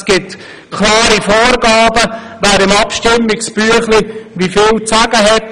Es gibt klare Vorgaben, wer im Abstimmungsbüchlein wie viel zu sagen hat.